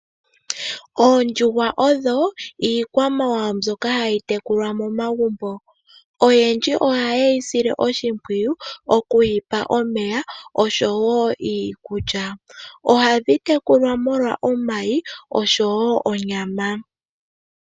Oondjuhwa odho iikwamawawa mbyoka hayi tekulwa momagumbo. Oyendji oha yeyi sile oshimpwiyu oku yipa omeya oshowo iikulya. Ohadhi tekulwa molwa omayi oshowo onyama.